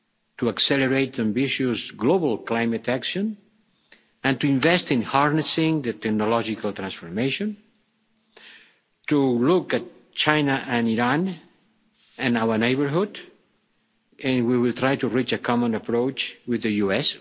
to accelerate ambitious global climate action and to invest in harnessing that in a logical transformation to look at China and Iran and our neighbourhood, and we will try to reach a common approach with the